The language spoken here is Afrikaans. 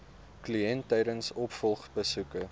kliënt tydens opvolgbesoeke